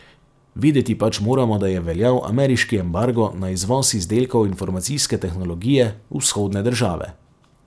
Vedeti pač moramo, da je veljal ameriški embargo na izvoz izdelkov informacijske tehnologije v vzhodne države.